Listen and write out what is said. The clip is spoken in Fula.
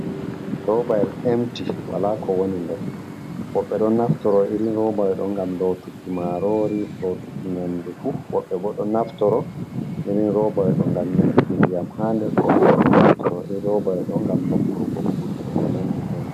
Robayel emti wala ko woni der, woɓɓe do naftoro iri robayo do gam lotuki marori, lotuki nyandu fu, woɓbe bo do naftoro iri robayo do ngam nyeduki ndiyam hader woɓɓe bo do naftoro iri robayo do gam nokurgo kuje ko nandi ɓemai.